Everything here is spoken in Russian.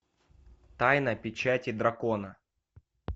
тайна печати дракона